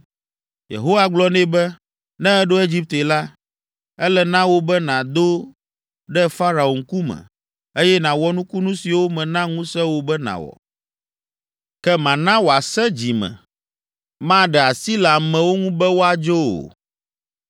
Yehowa gblɔ nɛ be, “Ne èɖo Egipte la, ele na wò be nàdo ɖe Farao ŋkume, eye nàwɔ nukunu siwo mena ŋusẽ wò be nàwɔ. Ke mana wòasẽ dzi me: maɖe asi le ameawo ŋu be woadzo o.